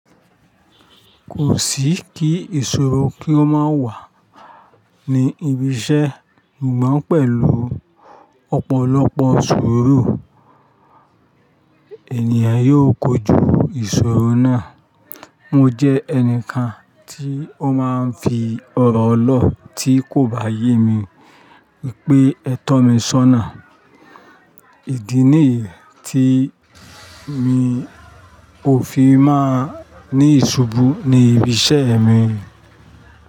Kò sí kí ìṣòro kí ó má wà ní ibi iṣẹ́, ṣùgbọ́n pẹ̀lú ọ̀pọ̀lọpọ̀ suuru, ènìyàn yóò kojú ìṣòro náà. Mo jẹ́ ẹnìkan tí ó máa ń fi ọ̀rọ̀ lọ́ tí kò bá yé mi, pé ẹ tọ́ mi sọ́nà. Ìdí nìyí tí mi ò fi máa ní ìṣubú ní ibi iṣẹ́ mi.